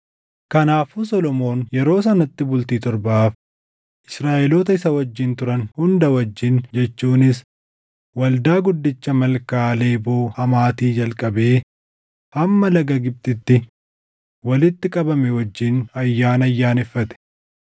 Kanaafuu Solomoon yeroo sanatti bultii torbaaf Israaʼeloota isa wajjin turan hunda wajjin jechuunis waldaa guddicha Malkaa Leeboo Hamaatii jalqabee hamma laga Gibxitti walitti qabame wajjin ayyaana ayyaaneffate.